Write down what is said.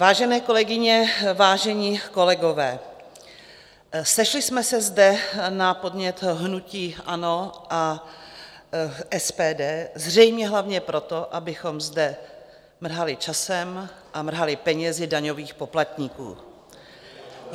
Vážené kolegyně, vážení kolegové, sešli jsme se zde na podnět hnutí ANO a SPD zřejmě hlavně proto, abychom zde mrhali časem a mrhali penězi daňových poplatníků.